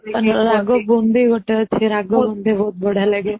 ରାଗ ବୁନ୍ଦି ଗୋଟା ଅଛି ରାଗ ବୁନ୍ଦି ବହୁତ ବଢିଆ ଲାଗେ